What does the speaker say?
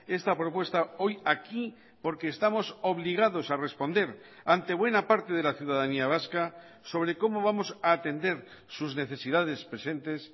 esta propuesta hoy aquí porque estamos obligados a responder ante buena parte de la ciudadanía vasca sobre cómo vamos a atender sus necesidades presentes